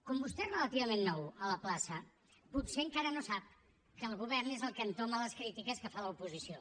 com vostè és relativament nou a la plaça potser encara no sap que el govern és el que entoma les crítiques que fa l’oposició